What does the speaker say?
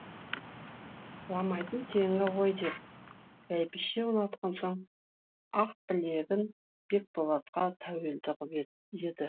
жыламайтын теңі ғой деп бәйбіше ұнатқан соң ақбілегін бекболатқа тәуелді қып еді